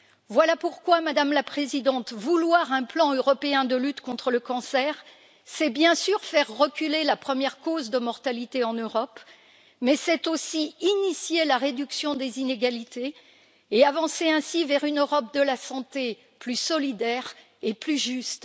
Voilà pourquoi, Madame la Présidente, vouloir un plan européen de lutte contre le cancer, c'est bien sûr faire reculer la première cause de mortalité en Europe, mais c'est aussi initier la réduction des inégalités et avancer ainsi vers une Europe de la santé plus solidaire et plus juste.